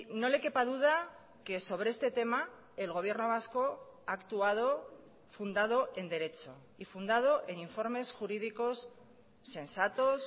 no le quepa duda que sobre este tema el gobierno vasco ha actuado fundado en derecho y fundado en informes jurídicos sensatos